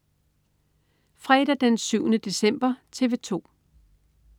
Fredag den 7. december - TV 2: